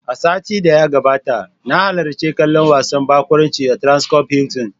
A satin da ya gabata, na halarci kallon wasan barkwanci a "Transcorp Hilton".